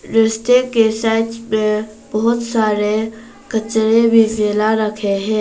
रस्ते के साइड्स में बहुत सारे कचरे भी फैला रखे हैं।